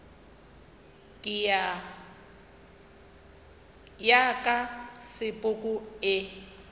ya ka ya sepoko e